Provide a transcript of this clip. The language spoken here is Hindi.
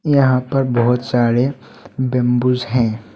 यहां पर बहुत सारे बम्बूज हैं।